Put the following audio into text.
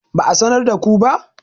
ba a sanar da ku ba?